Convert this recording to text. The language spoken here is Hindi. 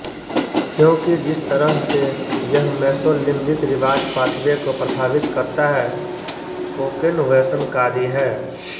क्योंकि जिस तरह से यह मेसोलिम्बिक रिवार्ड पाथवे को प्रभावित करता है कोकेन व्यसनकारी है